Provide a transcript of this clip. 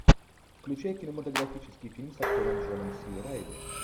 включай кинематографический фильм с актером джоном си райли